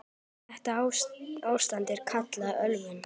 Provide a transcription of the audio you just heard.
Þetta ástand er kallað ölvun.